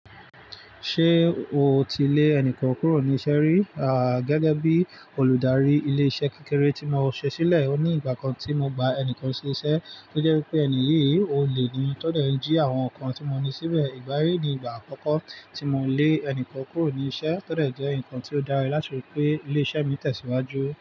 Ṣé o ti lé ẹnìkan kúrò níṣẹ́ rí? Gẹ́gẹ́ bí olùdarí ilé-iṣẹ́ kékeré tí mo ṣe sílẹ̀, ó ní ìgbà kan tí mo gba ẹnìkan sí iṣẹ́ tó jẹ́ pé ẹni yìí olè ní tọ́dẹ̀ jí àwọn nǹkan tí mo ní síbẹ̀. Ìgbàyíí ni ìgbà àkọ́kọ́ tí mo lé ẹnìkan kúrò níṣẹ́, tọ́ dẹ̀ jẹ́ ǹkan tí ó dára láti rí pé ilé-iṣẹ́ mi tẹ̀síwájú.